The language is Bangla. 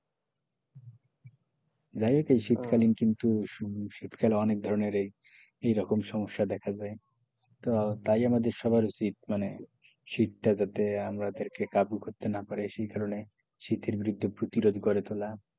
যাই হোক এই শীতকালীন কিন্তু শীতকালে অনেক ধরণের এই রকম সমস্যা দেখা যায় তো তাই আমাদের সবার উচিৎ মানে শীত যাতে আমাদেরকে কাবু করতে না পারে সেই কারণে শীতের বিরুদ্ধে প্রতিরোধ গড়ে তোলা,